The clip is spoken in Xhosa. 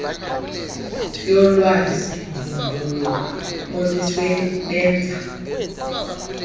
yolwazi mbumbulu olusebenza